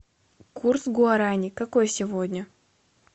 курс гуарани какой сегодня